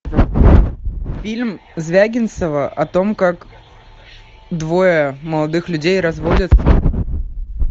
фильм звягинцева о том как двое молодых людей разводятся